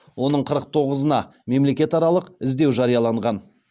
оның қырық тоғызына мемлекетаралық іздеу жарияланған